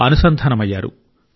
అనుసంధానమయ్యారు